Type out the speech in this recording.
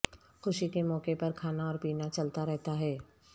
خوشی کے موقعہ پر کھانا اور پینا چلتا رہتا ہے